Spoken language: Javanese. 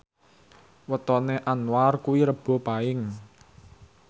wetone Anwar kuwi Rebo Paing